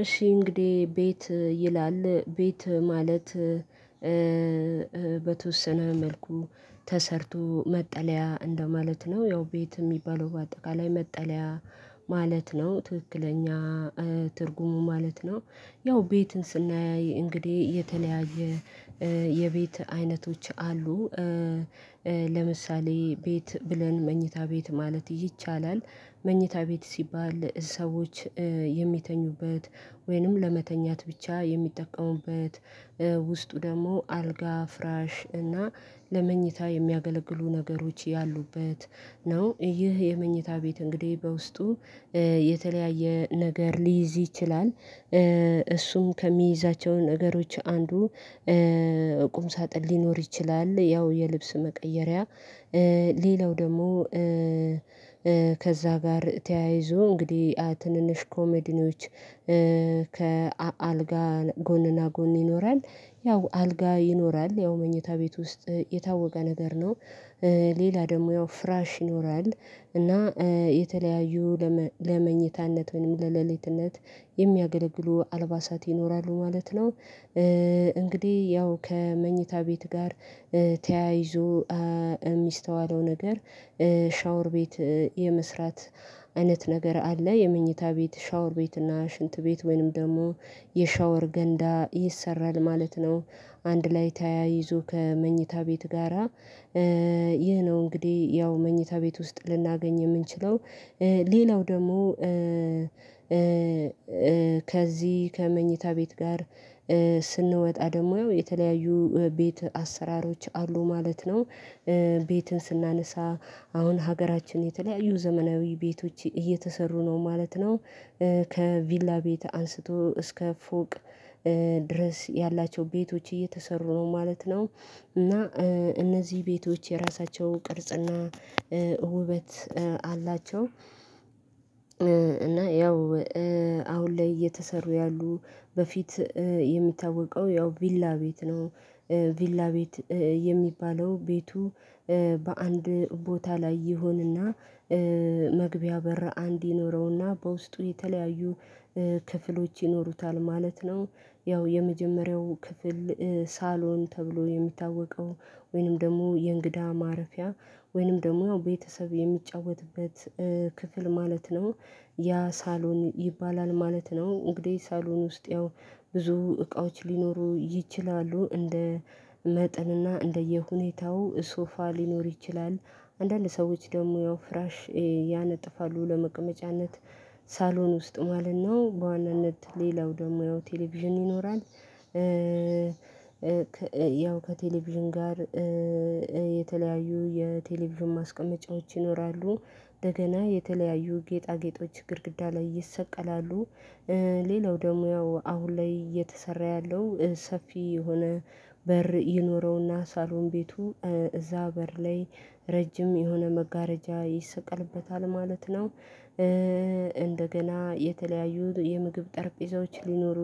እሺ እንግዲህ ቤት ይላል ቤት ማለት በተወሰነ መልኩ ተሰርቶ መጠለያ እንደማለት ነው ያው ቤት የሚባለው በአጠቃላይ መጠለያ ማለት ነው ትክክለኛ ትርጉሙ ማለት ነው። ያው ቤትን ስናይ እንግዲህ የተለያየ የቤት አይነቶች አሉ። ለምሳሌ ቤት ብለን መኝታ ቤት ማለት ይቻላል። መኝታ ቤት ሲባል ሰዎች የሚተኙበት ወይንም ለመተኛት ብቻ የሚጠቀሙበት ውስጡ ደግሞ አልጋ ፍራሽ እና ለመኝታ የሚያገለግሉ ነገሮች ያሉበት ነው። ይህ የመኝታ ቤት እንግዲህ በውስጡ የተለያየ ነገር ሊይዝ ይችላል። እሱም ከሚይዛቸው ነገሮች አንዱ ቁም ሳጥን ሊኖር ይችላል ያው የልብስ መቀየሪያ። ሌላው ደግሞ ከዛ ጋር ተያይዞ እንግዲህ ትንንሽ ኮሜዲኖች ከአልጋ ጎንና ጎን ይኖራል። ያው አልጋ ይኖራል ያው መኝታ ቤት ውስጥ የታወቀ ነገር ነው። ሌላ ደግሞ ያው ፍራሽ ይኖራል እና የተለያዩ ለመኝታነት ወይም ለለሊትነት የሚያገለግሉ አልባሳት ይኖራሉ ማለት ነው። እንግዲህ ያው ከመኝታ ቤት ጋር ተያይዞ የሚስተዋለው ነገር ሻወር ቤት የመስራት አይነት ነገር አለ። የመኝታ ቤት ሻወር ቤት እና ሽንት ቤት ወይንም ደግሞ የሻወር ገንዳ ይሰራል ማለት ነው። አንድ ላይ ተያይዞ ከመኝታ ቤት ጋራ ይህ ነው። እንግዲህ ያው መኝታ ቤት ውስጥ ልናገኝ የምንችለው ሌላው ደግሞ ከዚህ ከመኝታ ቤት ጋር ስንወጣ ደግሞ የተለያዩ ቤት አሰራሮች አሉ ማለት ነው። ቤትን ስናነሳ አሁን ሀገራችን የተለያዩ ዘመናዊ ቤቶች እየተሰሩ ነው ማለት ነው። ከቪላ ቤት አንስቶ እስከ ፎቅ ድረስ ያላቸው ቤቶች እየተሰሩ ነው ማለት ነው። እና እነዚህ ቤቶች የራሳቸው ቅርጽና ውበት አላቸው። እና ያው አሁን ላይ እየተሰሩ ያሉ በፊት የሚታወቀው ያው ቪላ ቤት ነው። ቪላ ቤት የሚባለው ቤቱ በአንድ ቦታ ላይ ይሆንና መግቢያ በር አንድ ይኖረውና በውስጡ የተለያዩ ክፍሎች ይኖሩታል ማለት ነው። ያው የመጀመሪያው ክፍል ሳሎን ተብሎ የሚታወቀው ወይንም ደግሞ የእንግዳ ማረፊያ ወይንም ደግሞ ቤተሰብ የሚጫወትበት ክፍል ማለት ነው ያ ሳሎን ይባላል ማለት ነው። እንግዲህ ሳሎን ውስጥ ያው ብዙ እቃዎች ሊኖሩ ይችላሉ እንደ መጠንና እንደየሁኔታው ሶፋ ሊኖር ይችላል። አንዳንድ ሰዎች ደግሞ ያው ፍራሽ ያነጥፋሉ ለመቀመጫነት ሳሎን ውስጥ ማለት ነው በዋናነት ሌላው ደግሞ ያው ቴሌቪዥን ይኖራል። ያው ከቴሌቪዥን ጋር የተለያዩ የቴሌቪዥን ማስቀመጫዎች ይኖራሉ እደገና የተለያዩ ጌጣጌጦች ግድግዳ ላይ ይሰቀላሉ። ሌላው ደግሞ ያው አሁን ላይ እየተሰራ ያለው ሰፊ የሆነ በር ይኖረውና ሳሎን ቤቱ እዛ በር ላይ ረጅም የሆነ መጋረጃ ይሰቀልበታል ማለት ነው። እንደገና የተለያዩ የምግብ ጠረጴዛዎች ሊኖሩ